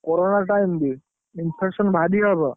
corona time ବି। infection ଭାରି ହବ।